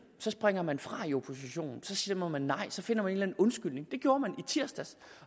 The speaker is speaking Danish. så springer man fra i oppositionen så stemmer man nej så finder man en undskyldning det gjorde man i tirsdags